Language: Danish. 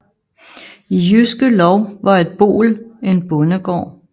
I Jyske Lov var et boel en bondegård